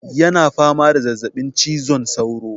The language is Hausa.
Yana fama da zazzabin cizon sauro.